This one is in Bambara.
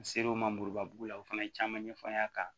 N ser'o ma muruba bugu la o fana ye caman ɲɛfɔ n ɲ'a kan